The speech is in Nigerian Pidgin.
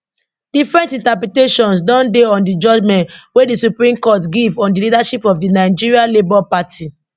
different interpretations don dey on di judgement wey di supreme court give on di leadership of di nigeria labour party